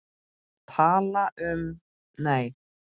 Tala um, nei!